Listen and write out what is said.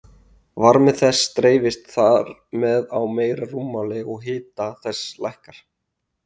Varmi þess dreifist þar með á meira rúmmál og hiti þess lækkar.